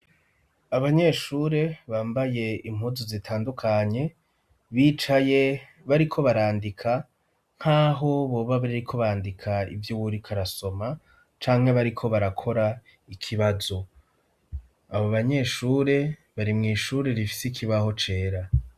Abanyeshure bambaye impuzu zitandukanye ,bicaye bariko barandika ,nkaho boba bariko bandika ivy 'uwurik'arasoma ,cangwa bariko barakora ikibazo ,abo banyeshure bari mw' ishuri rifise ikibaho cera.